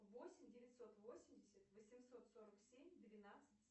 восемь девятьсот восемьдесят восемьсот сорок семь двенадцать